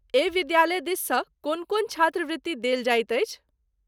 एहि विद्यालय दिससँ कोन कोन छात्रवृत्ति देल जाइत अछि?